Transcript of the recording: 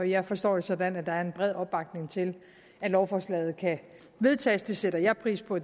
jeg forstår det sådan at der er en bred opbakning til at lovforslaget kan vedtages det sætter jeg pris på